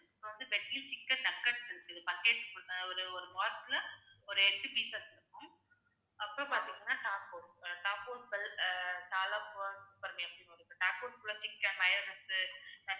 அப்புறம் வந்து veg chicken nuggets இருக்கு buckets ஒரு~ ஒரு box ல ஒரு எட்டு இருக்கு pieces இருக்கும் அப்புறம் பாத்தீங்கன்னா tapods அஹ் tapods tapods குள்ள chicken mayonnaise